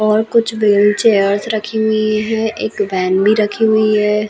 और कुछ बिल्ड चेयर्स रखी हुई है एक बेन भी रखे हुई है।